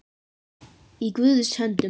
Í Guðs höndum